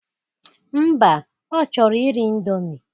Mba, ọ chọrọ iri ịndomi